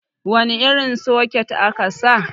wane irin soket aka sa